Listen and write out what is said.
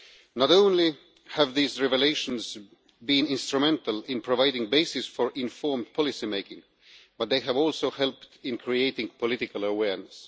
Not only have these revelations been instrumental in providing bases for informed policy making, but they have also helped in creating political awareness.